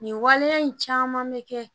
Nin waleya in caman bɛ kɛ